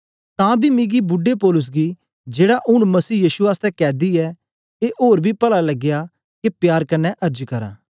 तां बी मिकी बुड्डे पौलुस गी जेड़ा ऊन मसीह यीशु आसतै कैदी ऐ ए ओर बी पला लगया के प्यार कन्ने अर्ज करां